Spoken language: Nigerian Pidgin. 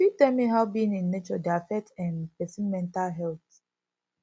you fit tell me how being in nature dey affect um pesin mental health